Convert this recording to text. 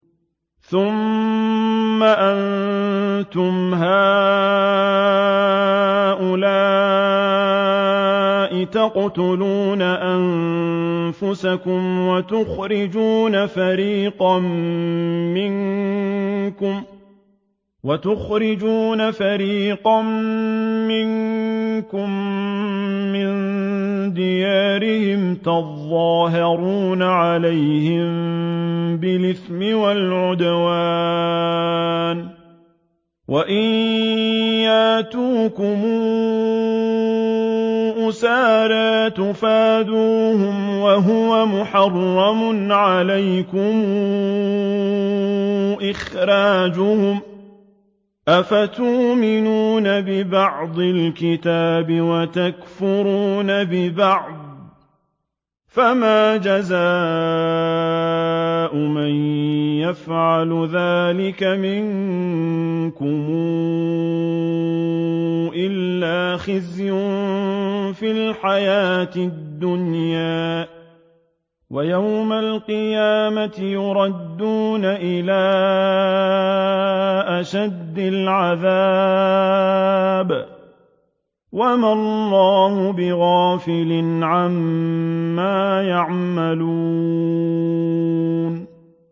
ثُمَّ أَنتُمْ هَٰؤُلَاءِ تَقْتُلُونَ أَنفُسَكُمْ وَتُخْرِجُونَ فَرِيقًا مِّنكُم مِّن دِيَارِهِمْ تَظَاهَرُونَ عَلَيْهِم بِالْإِثْمِ وَالْعُدْوَانِ وَإِن يَأْتُوكُمْ أُسَارَىٰ تُفَادُوهُمْ وَهُوَ مُحَرَّمٌ عَلَيْكُمْ إِخْرَاجُهُمْ ۚ أَفَتُؤْمِنُونَ بِبَعْضِ الْكِتَابِ وَتَكْفُرُونَ بِبَعْضٍ ۚ فَمَا جَزَاءُ مَن يَفْعَلُ ذَٰلِكَ مِنكُمْ إِلَّا خِزْيٌ فِي الْحَيَاةِ الدُّنْيَا ۖ وَيَوْمَ الْقِيَامَةِ يُرَدُّونَ إِلَىٰ أَشَدِّ الْعَذَابِ ۗ وَمَا اللَّهُ بِغَافِلٍ عَمَّا تَعْمَلُونَ